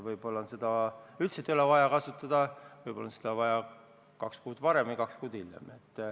Võib-olla ei ole seda üldse vaja kasutada, võib-olla on seda vaja kaks kuud varem või kaks kuud hiljem.